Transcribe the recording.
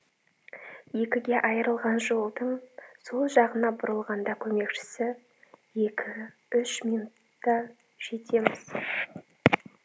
екіге айырылған жолдың сол жағына бұрылғанда көмекшісі екі үш минутта жетеміз